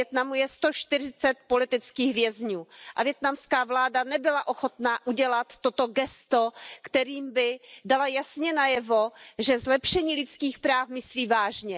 Ve Vietnamu je 140 politických vězňů a vietnamská vláda nebyla ochotna udělat toto gesto, kterým by dala jasně najevo, že zlepšení lidských práv myslí vážně.